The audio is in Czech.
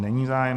Není zájem